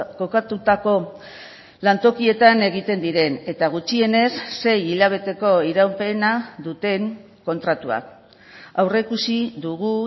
kokatutako lantokietan egiten diren eta gutxienez sei hilabeteko iraupena duten kontratuak aurreikusi dugu